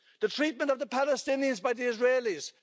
The treatment of the Palestinians by the Israelis.